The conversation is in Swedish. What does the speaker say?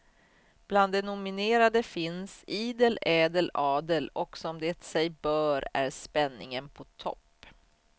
Bland de nominerade finns idel ädel adel och som det sig bör är spänningen på topp.